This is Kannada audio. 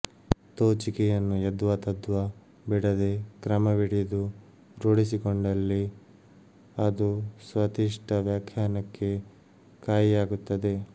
ತೋಚಿಕೆಯನ್ನು ಯದ್ವಾತದ್ವಾ ಬಿಡದೆ ಕ್ರಮವಿಡಿದು ರೂಢಿಸಿಕೊಂಡಲ್ಲಿ ಅದು ಸ್ವತಿಷ್ಠ ವ್ಯಾಖ್ಯಾನಕ್ಕೆ ಕಾಯಿಯಾಗುತ್ತದೆ